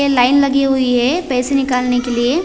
ये लाइन लगी हुई है पैसे निकालने के लिए--